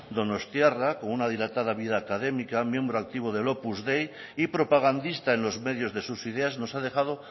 donostiarra con una dilatada vida académica miembro activo del opus dei y propagandista en los medios de sus ideas nos ha dejado